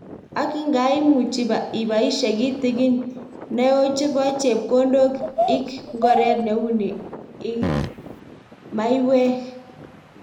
Ak ngaii, imuchi ibaishe kitikin naeo chebo chepkondok ik ngoret neuni ik maiwek.